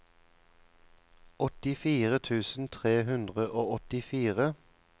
åttifire tusen tre hundre og åttifire